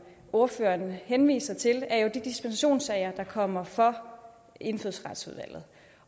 ordføreren henviser til er de dispensationssager der kommer for indfødsretsudvalget